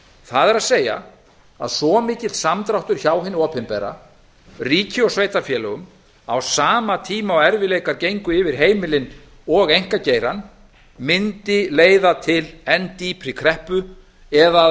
það er að svo mikill samdráttur hjá hinu opinbera ríki og sveitarfélögum á sama tíma og erfiðleikar gengu yfir heimilin og einkageirann mundi leiða til enn dýpri kreppu eða að